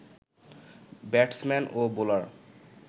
batsman ও bowler